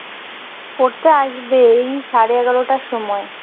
পড়তে আসবে এই সাড়ে এগারোটার সময়